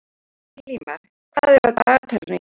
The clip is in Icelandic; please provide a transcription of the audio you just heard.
Elímar, hvað er á dagatalinu í dag?